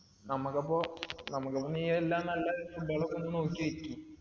നമുക്കപ്പോ നമുക്കപ്പോ നീയെല്ല നല്ല food കളും നോക്കി വെക്ക്